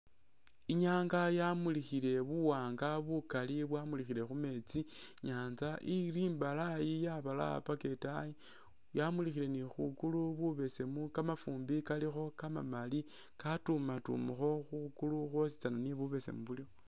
Inyanga yamulikhile buwanga bukali ,bwamulikhile khumeetsi inyanza ili imbalayi yabalaya paka etaayi ,yamulikhile ni khugulu khubesemu kamafumbi kalikho kamamali katumatumakho khugulu khwosi tsane ni bubesemu bulikho